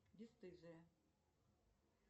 бесстыжие